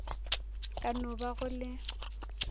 ka no ba go le